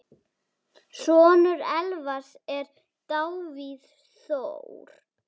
Sonur Elvars er Davíð Þór.